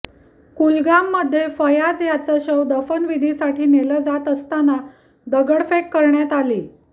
कुलगाममध्ये फयाज यांचं शव दफनविधीसाठी नेलं जात असताना दगडफेक करण्यात आली